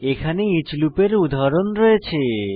এখানে ইচ লুপের উদাহরণ রয়েছে